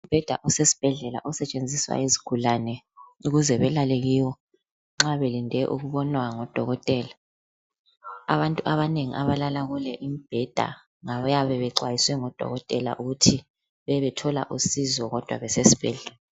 Umbheda osesibhedlela osetshenziswa yizigulane ukuze belale kiwo nxa belinde ukubonwa ngudokotela. Abantu abanengi abalala kule imbheda ngabayabe bexwayiswe ngudokotela ukuthi bebethola usizo kodwa besesibhedlela.